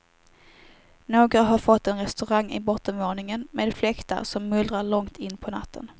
Några har fått en restaurang i bottenvåningen, med fläktar som mullrar långt in på natten.